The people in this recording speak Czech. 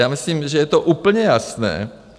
Já myslím, že je to úplně jasné.